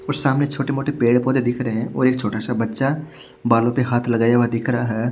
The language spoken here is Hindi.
व सामने छोटे मोटे पेड़ पौधे दिख रहे है और एक छोटा सा बच्चा बालों पे लगाया हुआ दिख रहा है।